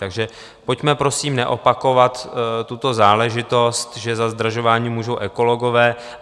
Takže pojďme prosím neopakovat tuto záležitost, že za zdražování můžou ekologové.